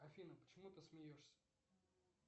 афина почему ты смеешься